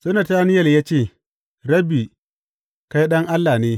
Sai Natanayel ya ce, Rabbi, kai Ɗan Allah ne.